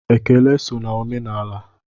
Ekele so na omenaala.